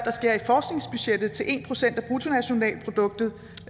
en procent af bruttonationalproduktet